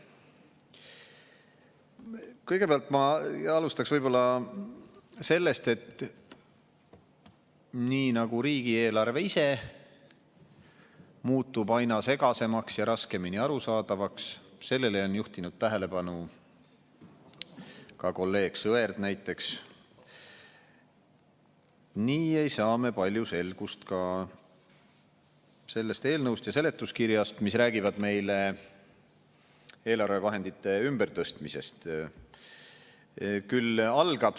Kõigepealt, ma alustaks võib-olla sellest, et nii nagu riigieelarve ise muutub aina segasemaks ja raskemini arusaadavaks – sellele on juhtinud tähelepanu ka kolleeg Sõerd näiteks –, nii ei saa me palju selgust ka sellest eelnõust ja seletuskirjast, mis räägivad meile eelarvevahendite ümbertõstmisest.